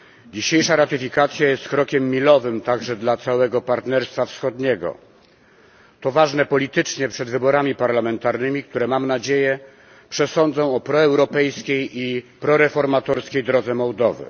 Dzisiejsza ratyfikacja jest krokiem milowym także dla całego Partnerstwa Wschodniego. To ważne politycznie przed wyborami parlamentarnymi, które mam nadzieję przesądzą o proeuropejskiej i proreformatorskiej drodze Mołdowy.